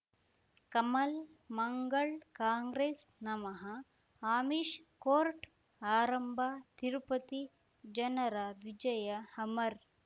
ಕಮಲ್ ಮಂಗಳ್ ಕಾಂಗ್ರೆಸ್ ನಮಃ ಅಮಿಷ್ ಕೋರ್ಟ್ ಆರಂಭ ತಿರುಪತಿ ಜನರ ವಿಜಯ ಅಮರ್